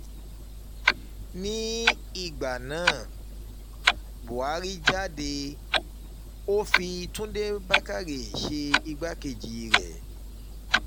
nígbà náà buhari jáde ó fi túnde fi túnde bàkórè ṣe igbákejì rẹ̀